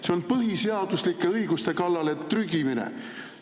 See on põhiseaduslike õiguste kallale trügimine.